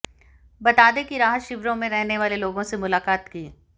बता दें कि राहत शिविरों में रहने वाले लोगों से मुलाकात की